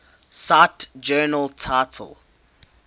cite journal title